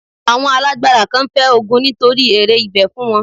Àwọn alágbára kan fẹ́ ogun nítorí èrè ibẹ̀ fún wọn.